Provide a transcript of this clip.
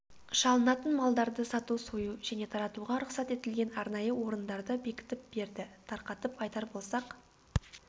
шалынатын малдарды сату сою және таратуға рұқсат етілген арнайы орындарды бекітіп берді тарқатып айтар болсақ